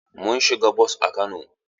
Mun siga bos a Kano.